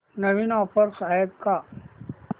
नवीन offers आहेत का